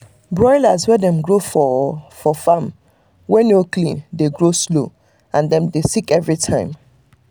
broilers wey dem grow for for farm wey no clean dey grow slow and dem dey sick every time